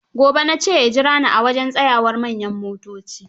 Gobe na ce ya jura ni a wajen tsayawar manyan motoci.